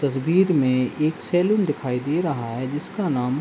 तस्वीर में एक सैलून दिखाई दे रहा है जिसका नाम --